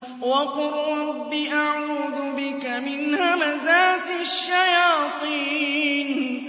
وَقُل رَّبِّ أَعُوذُ بِكَ مِنْ هَمَزَاتِ الشَّيَاطِينِ